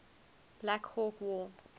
black hawk war